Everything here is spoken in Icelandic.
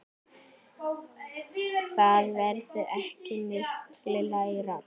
Það verður ekki mikið lægra.